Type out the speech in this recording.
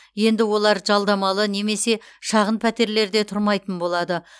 енді олар жалдамалы немесе шағын пәтерлерде тұрмайтын болады